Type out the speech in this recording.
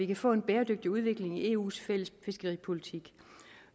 kan få en bæredygtig udvikling i eus fælles fiskeripolitik